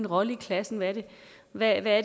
rolle i klassen er hvad det er